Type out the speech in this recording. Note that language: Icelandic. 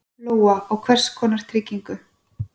Lóa: Og hvers konar trygging?